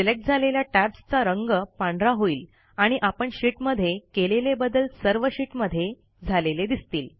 select झालेल्या टॅब्सचा रंग पांढरा होईल आणि आपण शीट मध्ये केलेले बदल सर्व शीटमध्ये झालेले दिसतील